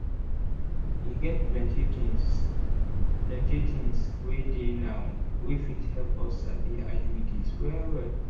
e get plenty things plenty things wey dey now wey fit help us sabi iuds well well.